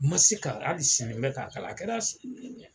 Ma se ka hali sini n bɛk'a kalan a kɛra